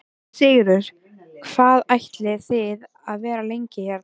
Sigurður: Hvað ætlið þið að vera lengi hérna?